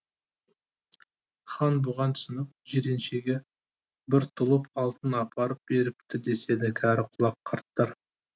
хан бұған түсініп жиреншеге бір тұлып алтын апарып беріпті деседі кәрі құлақ қарттар